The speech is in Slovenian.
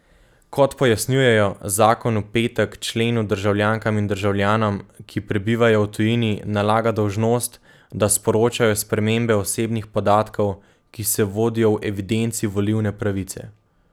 Kot pojasnjujejo, zakon v petek členu državljankam in državljanom, ki prebivajo v tujini, nalaga dolžnost, da sporočajo spremembe osebnih podatkov, ki se vodijo v evidenci volilne pravice.